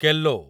Kelo